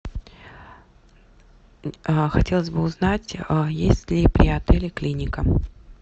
хотелось бы узнать есть ли при отеле клиника